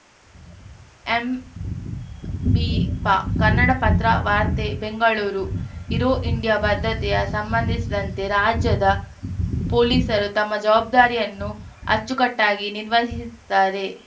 ಎಂಬಿಪಾ ಕನ್ನಡಪತ್ರ ವಾರ್ತೆ Bengaluru aero India ಭದ್ರತೆಯ ಸಂಬಂಧಿಸಿದಂತೆ ರಾಜ್ಯದ ಪೊಲೀಸರು ತಮ್ಮ ಜವಾಬ್ದಾರಿಯನ್ನು ಅಚ್ಚುಕಟ್ಟಾಗಿ ನಿರ್ವಹಿಸಿದ್ದಾರೆ